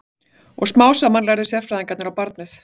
Og smám saman lærðu sérfræðingarnir á barnið.